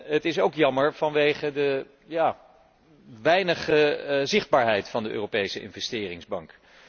Het is ook jammer vanwege de geringe zichtbaarheid van de Europese Investeringsbank.